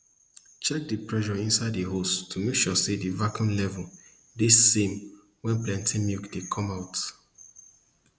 check di pressure inside di hose to make sure di vacuum level de same wen plenty milk dey come out